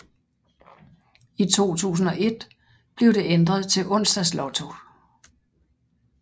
I 2001 blev det ændret til Onsdags Lotto